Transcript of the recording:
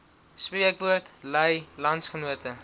spreekwoord lui landsgenote